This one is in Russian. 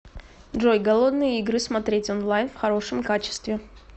джой голодные игры смотреть онлайн в хорошем качестве